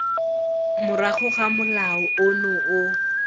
morago ga molao ono o